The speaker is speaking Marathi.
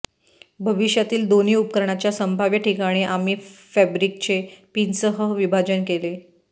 भविष्यातील दोन्ही उपकरणाच्या संभाव्य ठिकाणी आम्ही फॅब्रिकचे पिनसह विभाजन केले